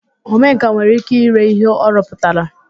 Omenkà nwere ike ire ihe ọ rụpụtara